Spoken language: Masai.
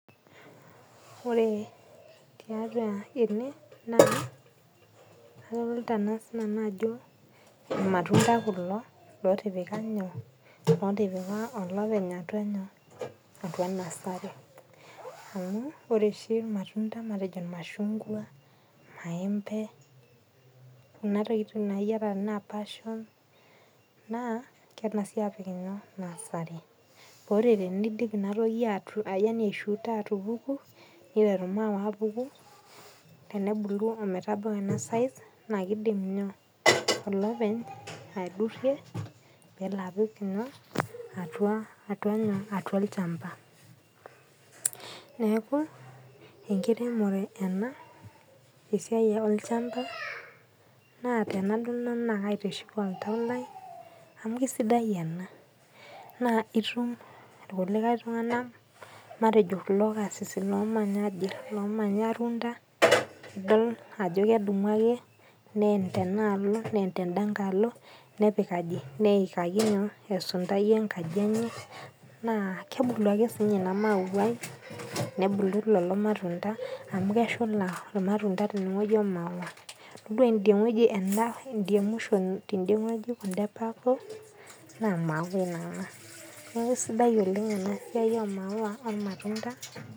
Ore tiatua ene na adolita di ajo irmatunda kulo otipika olopeny atua nasari neaku ore oshi irmatunda irmaembe na kengasi apik nasari ore piteru inatoki atupuku niteru maua abulu tenebulu peebau ena size na kidim olopeny aidurie pelo apik atua olchamba neaku enkiremore ena esiai olchamba na enadol kaitiship oltau lai nai itum irkulikae tunganak matejo kulo karsisi ajo kedumu ake neen tenaalo neikaki esundai enkaji enya na kebulu akesinye inamauai amu keshula irmashungwa omaua tadua inamwisho na maua naa neaku kesidai oleng enasia ormaua ormatunda